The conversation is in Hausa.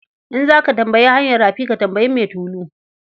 In za ka tambayi hanyar rafi, ka tambayi mai tulu.